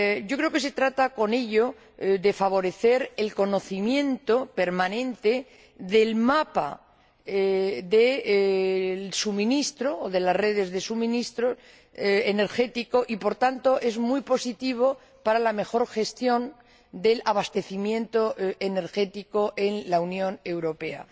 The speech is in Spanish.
Creo que se trata con ello de favorecer el conocimiento permanente del mapa del suministro o de las redes de suministro energético y, por tanto, es muy positivo para la mejor gestión del abastecimiento energético en la Unión Europea.